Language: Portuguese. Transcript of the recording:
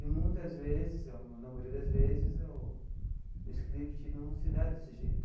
E muitas vezes, na maioria das vezes né o, o script não se dá desse jeito.